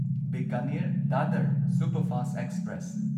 Bikaner Dadar superfast express